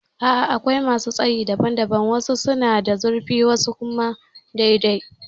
A'a akwai masu tsayi daban daban. Wasu suna da zurfi wasu kuma dai dai